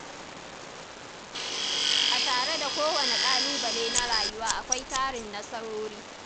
A tare da kowane ƙalubale na rayuwa, akwai tarin nasarori